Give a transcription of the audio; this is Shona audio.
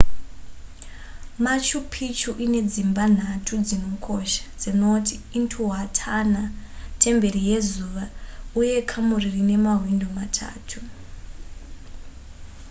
machu picchu ine dzimba nhatu dzinokosha dzinoti intihuatana temberi yezuva uye kamuri rine mawindo matatu